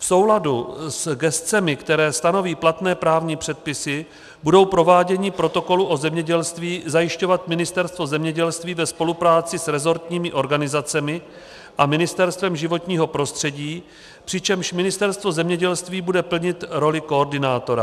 V souladu s gescemi, které stanoví platné právní předpisy, bude provádění protokolu o zemědělství zajišťovat Ministerstvo zemědělství ve spolupráci s resortními organizacemi a Ministerstvem životního prostředí, přičemž Ministerstvo zemědělství bude plnit roli koordinátora.